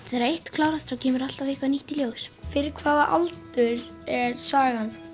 þegar eitt klárast kemur eitthvað nýtt í ljós fyrir hvaða aldur er sagan